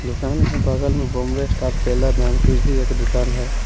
दुकान के बगल में बॉम्बे स्टार टेलर नाम की भी एक दुकान है।